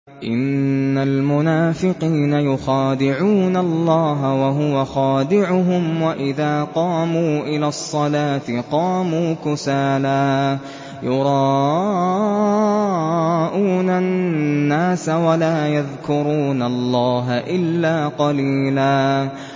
إِنَّ الْمُنَافِقِينَ يُخَادِعُونَ اللَّهَ وَهُوَ خَادِعُهُمْ وَإِذَا قَامُوا إِلَى الصَّلَاةِ قَامُوا كُسَالَىٰ يُرَاءُونَ النَّاسَ وَلَا يَذْكُرُونَ اللَّهَ إِلَّا قَلِيلًا